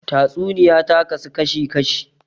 Tatsuniya ta kasu kashi kashi